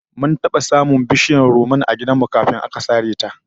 Mun taba samun bishiyar rumman a gidan mu kafin aka sare ta